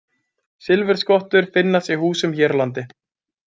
Silfurskottur finnast í húsum hér á landi.